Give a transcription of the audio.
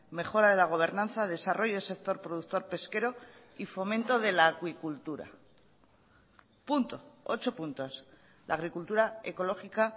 mejora de la gobernanza desarrollo del sector productor pesquero y fomento de la acuicultura punto ocho puntos la agricultura ecológica